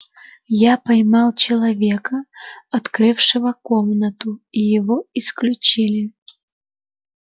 я поймал человека открывшего комнату и его исключили